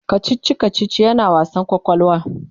kachichi kachichi yana wasa kwakwalwa